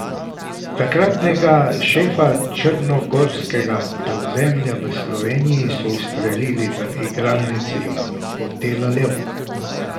Takratnega šefa črnogorskega podzemlja v Sloveniji so ustrelili v igralnici hotela Lev.